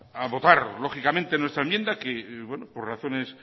a votar lógicamente nuestra enmienda que por razones